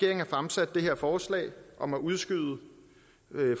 har fremsat det her forslag om at udskyde